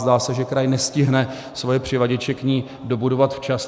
Zdá se, že kraj nestihne své přivaděče k ní dobudovat včas.